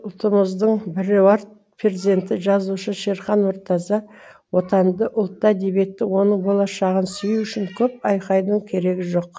ұлтымыздың біруар перзенті жазушы шерхан мұртаза отанды ұлтты әдебиетті оның болашағын сүю үшін көп айқайдың керегі жоқ